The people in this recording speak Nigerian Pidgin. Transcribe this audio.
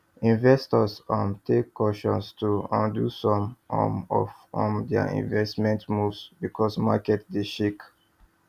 investors um take caution to undo some um of um their investment moves because market dey shake